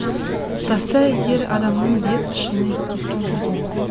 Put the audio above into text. таста ер адамның бет пішіні кескінделген